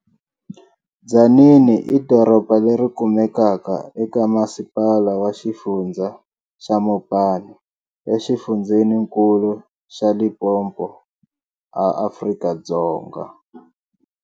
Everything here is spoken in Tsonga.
Tzaneen i doroba leri kumekaka e ka masipala wa xifundza xa Mopani e xifundzeninkulu xa Limpopo a Afrika-Dzonga.